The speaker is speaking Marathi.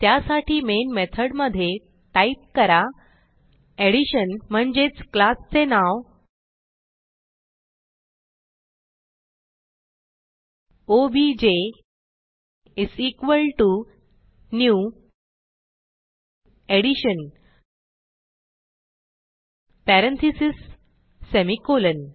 त्यासाठी मेन मेथड मधे टाईप करा एडिशन म्हणजेच क्लास चे नाव OBJ is equal to new addition parentheses semicolon